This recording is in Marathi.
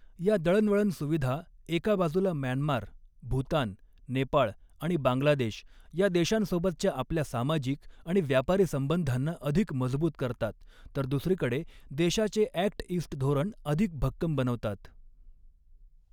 या दळणवळण सुविधा, एका बाजूला म्यानमार, भूतान, नेपाळ आणि बांगलादेश या देशांसोबतच्या आपल्या सामाजिक आणि व्यापारी संबंधांना अधिक मजबूत करतात तर दुसरीकडे देशाचे ॲक्ट ईस्ट धोरण अधिक भक्कम बनवतात.